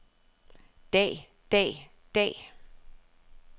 dag dag dag